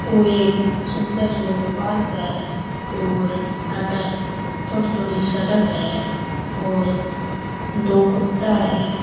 ओ एक सुन्दर सा पार्क है और अठ थोड़ी थोड़ी सड़क है और दो कुत्ता है।